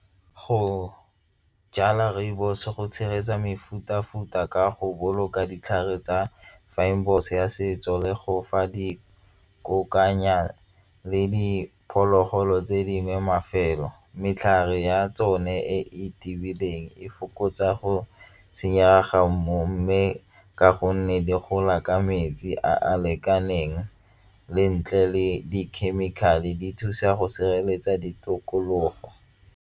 Go jala rooibos go tshegetsa mefuta-futa ka go boloka ditlhare tsa ya setso le go fa di kokoanya le diphologolo tse dingwe mafelo ya tsone e tiileng e fokotsa go senyega mmu mme ka gonne di gola ka metsi a a lekaneng le ntle le di-chemical-e di thusa go sireletsa ditokologo.